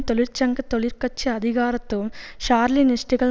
தொழிற்சங்க தொழிற்கட்சி அதிகாரத்துவம் ஸ்ராலினிஸ்டுகள்